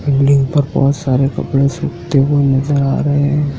Building पर बहोत सारे कपड़े सुखते हुए नजर आ रहे हैं।